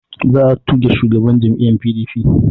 Za a tuge shugaban jam'iyya PDP